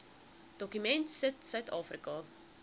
dokument sit suidafrika